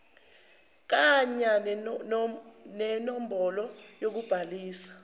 kanya nenombholo yokubhaliswa